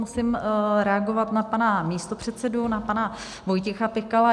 Musím reagovat na pana místopředsedu na pana Vojtěcha Pikala.